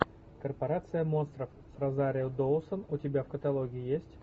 корпорация монстров с розарио доусон у тебя в каталоге есть